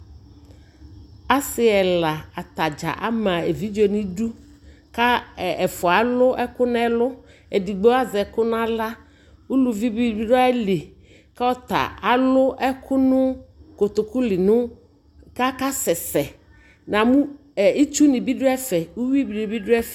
Asi ɛla atadza ama evidze nʋ udu kʋ ɛfua alʋ ɛkʋ nʋ ɛllʋ Edigbo azɛ ɛkʋ nʋ aɣla Uluvi bi dʋ ayʋli kʋ ɔta alʋ ɛkʋ nʋ kotokuli nʋ kakasɛsɛ Namʋ ɛ itsuni bi dʋƒɛfɛ, uwini bi dʋ ɛf